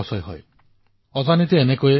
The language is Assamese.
আমাৰ যুৱচাম ধ্বংসৰ গৰাহলৈ নামি পৰে